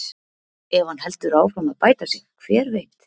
Ef hann heldur áfram að bæta sig, hver veit?